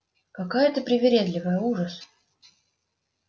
какая ты привередливая ужас